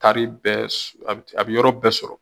Taari bɛɛ a bi yɔrɔ bɛɛ sɔrɔ